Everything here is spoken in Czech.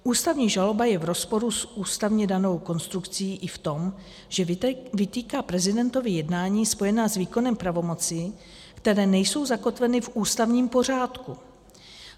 Ústavní žaloba je v rozporu s ústavně danou konstrukcí i v tom, že vytýká prezidentovi jednání spojená s výkonem pravomocí, které nejsou zakotveny v ústavním pořádku.